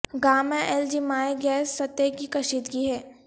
Gama L G مائع گیس سطح کی کشیدگی ہے